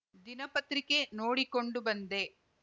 ದಿನಪತ್ರಿಕೆ ನೋಡಿಕೊಡು ಬಂದೆ